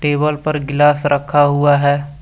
Table पर गिलास रखा हुआ है।